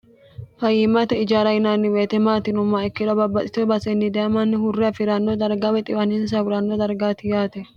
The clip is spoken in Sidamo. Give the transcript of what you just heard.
fayiimmate ijaara yinaanni weete maati yinummaha ikkiro babbaxite baasenni daye mannu hurre afi'ranno darga wexiwaninsa huranno dargaati yaate